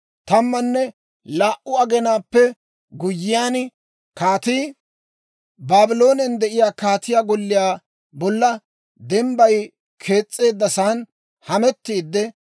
Tammanne laa"u aginaappe guyyiyaan, kaatii Baabloonen de'iyaa kaatiyaa golliyaa bolla dembbayi kees's'eeddasan hamettiidde